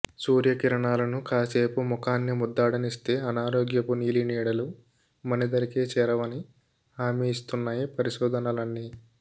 సూర్యకిరణాలను కాసేపు ముఖాన్ని ముద్దాడనిస్తే అనారోగ్యపు నీలినీడలు మన దరికే చేరవని హామీ ఇస్తున్నాయి పరిశోధనలన్నీ